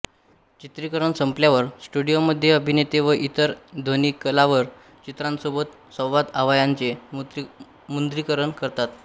चित्रिकरण संपल्यावर स्टु़डियोमध्ये अभिनेते व इतर ध्वनिकलाकार चित्रांसोबत संवादआवाचांचे मुद्रीकरण करतात